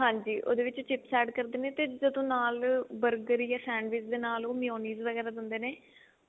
ਹਾਂਜੀ ਉਹਦੇ ਵਿੱਚ chips add ਕਰਦੇ ਜਦੋਂ ਨਾਲ burger ਤੇ sandwich ਦੇ ਨਾਲ ਉਹ meiosis ਵਗੇਰਾ ਦਿੰਦੇ ਨੇ